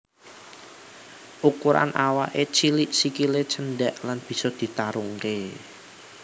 Ukuran awaké cilik sikilé cendhék lan bisa ditarungké